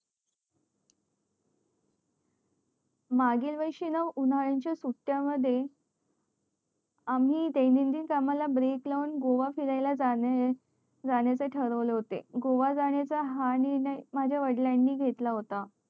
मागील वर्षी ना उन्हया च्या सुट्या मध्ये आम्ही द्यानंदिन कामाला break लावून गोव्याला फिरायला जाण्या चे ठरवले होते गोव्याला जाण्या चा हा निर्णय माझ्या वडिलांनी घेतला होता